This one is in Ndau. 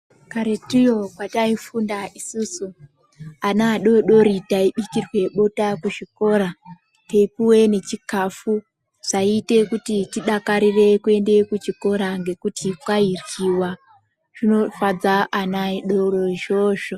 Karetio kwataifunda isusu ana adodori taibikirwa bota Kuzvikora teipuwa nechikafu zvaita kuti tidakarire kuenda kuchikora ngekuti kwairwiwa zvinivadza vana vadodori izvozvo.